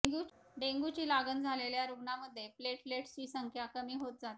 डेंग्यूची लागण झालेल्या रुग्णामध्ये प्लेटलेट्सची संख्या कमी होत जाते